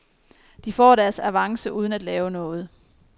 De får deres avance uden at lave noget.